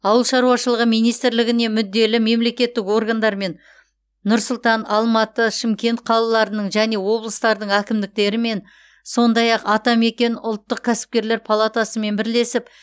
ауыл шаруашылығы министрлігіне мүдделі мемлекеттік органдармен нұр сұлтан алматы шымкент қалаларының және облыстардың әкімдерімен сондай ақ атамекен ұлттық кәсіпкерлер палатасымен бірлесіп